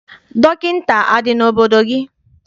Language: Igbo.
Dọkịta adị n'obodo gị?